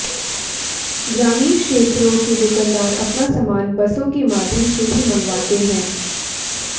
ग्रामीण क्षेत्रों के दुकानदार अपना सामान बसों के माध्यम से ही मंगवाते हैं